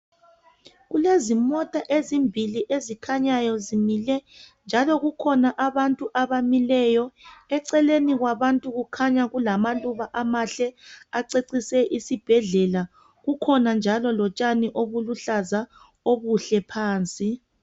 Kulezi mota ezimbili ezikhanyayo zimile kukhona njalo kukhona abantu abamileyo eceleni kwabantu kukhanya kulamaluba amahle acecise isibhedlela kukhona njalo lotshani obuluhlaza obuhle phansi.